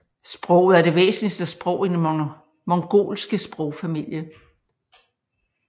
Sproget er det væsentligste sprog i den mongolske sprogfamilie